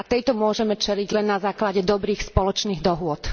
A tejto realite môžeme čeliť len na základe dobrých spoločných dohôd.